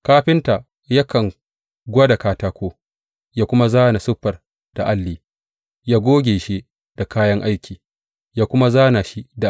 Kafinta yakan gwada katako yă kuma zāna siffar da alli; yă goge shi da kayan aiki yă kuma zāna shi da alƙalami.